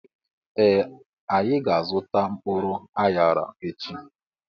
Ee anyị ga -azuta mkpụrụ anyara echi.